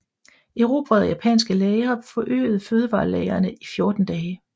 Erobrede japanske lagre forøgede fødevarelagrene til 14 dage